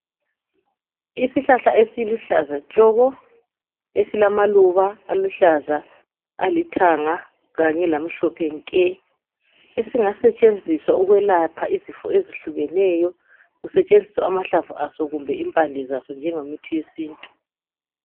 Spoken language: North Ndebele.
Isihlahla esiluhlaza tshoko esilamaluba aluhlaza, alithanga kanye lamhlophe nke esingasetshenziwa ukwelapha izifo ezehlukeneyo kusetshenziswa amahlamvu aso kumbe impande zaso njenge muthi wesintu.